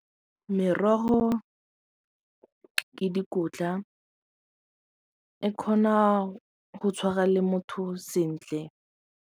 Merogo ke dikotla e kgona go tshwara le motho sentle.